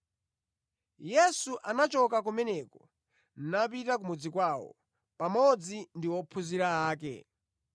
Yesu anachoka kumeneko napita ku mudzi kwawo, pamodzi ndi ophunzira ake.